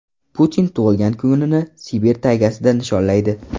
Putin tug‘ilgan kunini Sibir taygasida nishonlaydi.